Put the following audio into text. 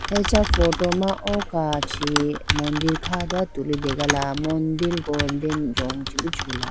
Acha photo ma o kachi mandir kha dowa tulitegala mandir golden rong chibi chula.